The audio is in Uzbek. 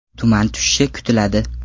Tuman tushishi kutiladi.